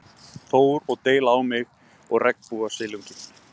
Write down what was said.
Þór, og deila á mig og regnbogasilunginn.